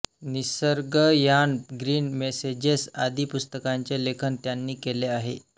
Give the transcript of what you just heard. Nisargayan Green Messages आदी पुस्तकांचे लेखन त्यांनी केले आहे